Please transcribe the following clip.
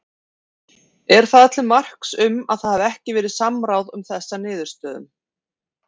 Er það til marks um að það hafi ekki verið samráð um þessa niðurstöðum?